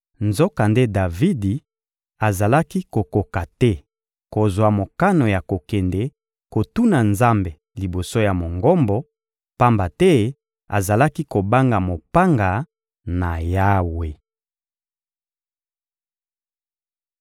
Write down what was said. Nzokande Davidi azalaki kokoka te kozwa mokano ya kokende kotuna Nzambe liboso ya Mongombo, pamba te azalaki kobanga mopanga na Yawe.